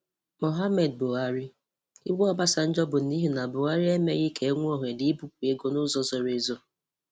Muhammadu Buhari: Iwe Obasanjo bụ n’ihi na Buhari emeghị ka e nwee ohere ibupu ego n’ụzọ zoro ezo.